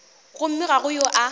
gomme ga go yo a